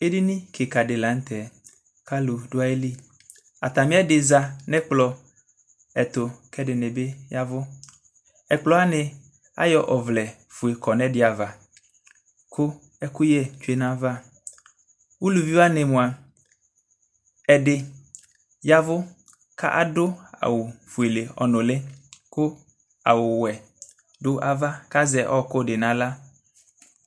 Edini kika di la nʋ tɛ kʋ alʋ dʋ ayili Atami ɛdi za nʋ ɛkplɔ ɛtʋ kʋ ɛdini bi yavʋ Ɛkplɔ wani, ayɔ ɔvlɛ fue kɔ nʋ ɛdi ava kʋ ɛkʋyɛ tsue nayava Alʋvi wani moa, ɛdi yavʋ kadʋ awʋ fuele ɔnʋli kʋ awʋ wɛ dʋ ava kʋ azɛ ɔɔkʋ di n'aɣla